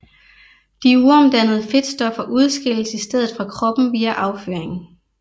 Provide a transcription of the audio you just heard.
De uomdannede fedtstoffer udskilles i stedet fra kroppen via afføring